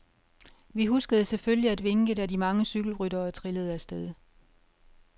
Vi huskede selvfølgelig at vinke, da de mange cykelryttere trillede af sted.